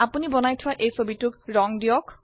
যে ছবিটি আপনি তৈয়াৰ কৰক সেটি ৰঙ কৰক